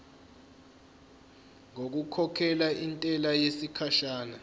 ngokukhokhela intela yesikhashana